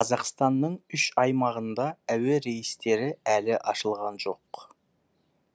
қазақстанның үш аймағында әуе рейстері әлі ашылған жоқ